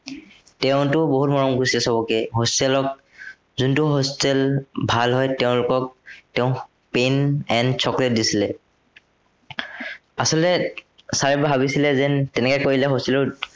তেওঁতো বহুত মৰম কৰিছিলে সৱকে hostel ত। যোনটো hostel ভাল হয়, তেওঁলোকক তেওঁ pen and chocolate দিছিলে। আচলতে sir এ ভাবিছিলে যেন তেনেকে কৰিলে hostel ত